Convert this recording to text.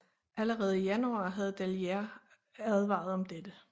Allerede i januar havde Dalliere advaret om dette